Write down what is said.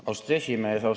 Austatud aseesimees!